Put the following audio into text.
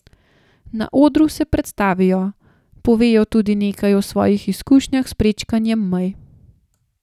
Na odru se predstavijo, povejo tudi nekaj o svojih izkušnjah s prečkanjem mej.